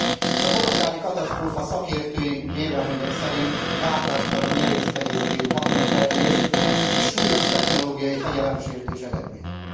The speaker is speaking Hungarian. Nos, a kolontári katasztrófa szakértői vélemények szerint gátlástalan, nyerészkedéscélú haszonszerzés és súlyos technológiai fegyelemsértés eredménye.